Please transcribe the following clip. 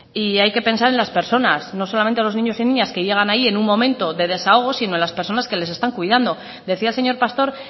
hay que pensar en las personas no solamente los niños y niñas que llegan ahí en un momento de desahogo sino en las personas que les están cuidando decía el señor pastor